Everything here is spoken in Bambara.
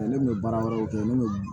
ne kun bɛ baara wɛrɛw kɛ ne bɛ